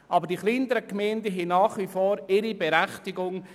Aber sie haben nach wie vor ihre Berechtigung.